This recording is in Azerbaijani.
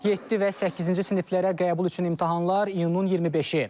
Yeddi və səkkizinci siniflərə qəbul üçün imtahanlar iyunun 25-i.